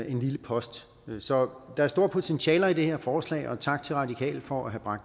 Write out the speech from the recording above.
en lille post så der er store potentialer i det her forslag og tak til radikale for at